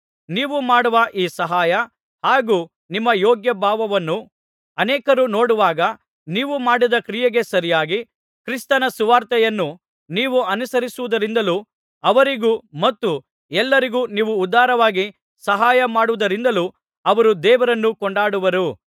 ನೀವು ಮಾಡುವ ಈ ಸಹಾಯ ಹಾಗೂ ನಿಮ್ಮ ಯೋಗ್ಯ ಭಾವವನ್ನು ಅನೇಕರು ನೋಡುವಾಗ ನೀವು ಮಾಡಿದ ಕ್ರಿಯೆಗೆ ಸರಿಯಾಗಿ ಕ್ರಿಸ್ತನ ಸುವಾರ್ತೆಯನ್ನು ನೀವು ಅನುಸರಿಸುವುದರಿಂದಲೂ ಅವರಿಗೂ ಮತ್ತು ಎಲ್ಲರಿಗೂ ನೀವು ಉದಾರವಾಗಿ ಸಹಾಯ ಮಾಡುವುದರಿಂದಲೂ ಅವರು ದೇವರನ್ನು ಕೊಂಡಾಡುವರು